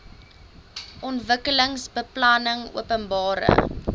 ontwikkelingsbeplanningopenbare